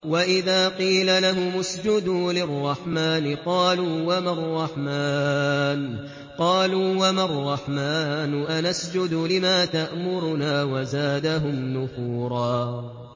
وَإِذَا قِيلَ لَهُمُ اسْجُدُوا لِلرَّحْمَٰنِ قَالُوا وَمَا الرَّحْمَٰنُ أَنَسْجُدُ لِمَا تَأْمُرُنَا وَزَادَهُمْ نُفُورًا ۩